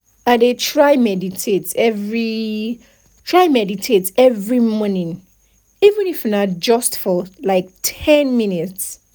i dey try meditate every try meditate every morning even if na just for like ten minutes